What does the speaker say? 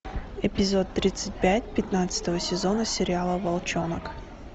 эпизод тридцать пять пятнадцатого сезона сериала волчонок